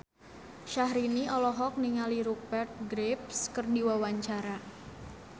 Syahrini olohok ningali Rupert Graves keur diwawancara